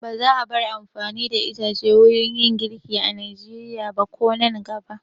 Ba za a bar amfani da ice wurin girki a Nigeria ba ko a nan gaba.